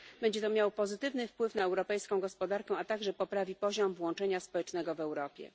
Będzie to miało pozytywny wpływ na europejską gospodarkę, a także poprawi poziom włączenia społecznego w Europie.